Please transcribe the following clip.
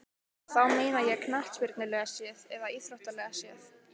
Og þá meina ég knattspyrnulega séð eða íþróttalega séð?